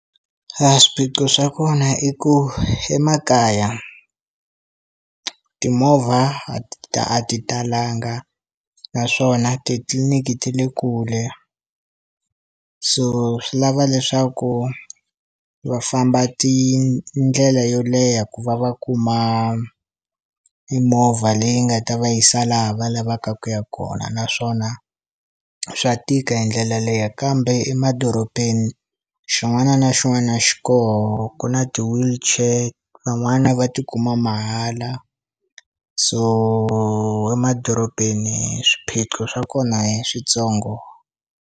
A swiphiqo swa kona i ku emakaya timovha a ti talanga naswona titliliniki ti le kule, so swi lava leswaku va famba tindlela yo leha ku va va kuma mimovha leyi nga ta va yisa laha va lavaka ku ya kona naswona swa tika hi ndlela leyo kambe emadorobeni xin'wana na xin'wana xi koho ku na ti-wheelchair van'wana va ti kuma mahala so emadorobeni swiphiqo swa kona hi switsongo.